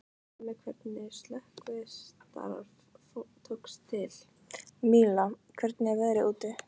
Míla, hvernig er veðrið úti?